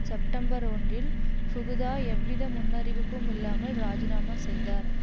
September ஒன்றில் Fukuda எவ்வித முன்னறிவிப்பும் இல்லாமல் இராஜினாமா செய்தார்